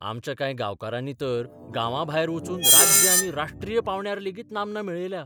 आमच्या कांय गांवकारांनी तर गांवांभायर वचून राज्य आनी राष्ट्रीय पावंड्यार लेगीत नामना मेळयल्या.